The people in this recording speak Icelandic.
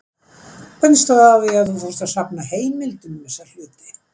Hvernig stóð á að þú fórst að safna heimildum um þessa hluti?